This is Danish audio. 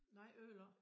Nej ødelagt